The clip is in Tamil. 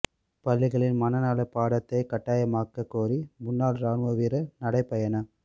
பள்ளிகளில் மனநல பாடத்தைக் கட்டாயமாக்கக் கோரி முன்னாள் ராணுவ வீரா் நடைப்பயணம்